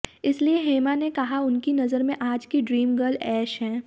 इसलिए हेमा ने कहा उनकी नजर में आज की ड्रीम गर्ल ऐश हैं